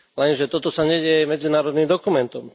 Lenže toto sa nedeje medzinárodným dokumentom.